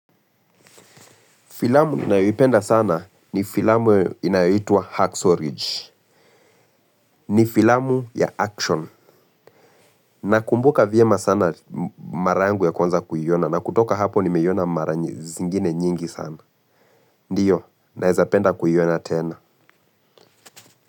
Filamu ninayipenda sana ni filamu inayitua Hacksaw Ridge. Ni filamu ya action. Nakumbuka vyema sana mara yangu ya kwanza kuiona na kutoka hapo nimeiona mara zingine nyingi sana. Ndiyo, naweza penda kuiona tena.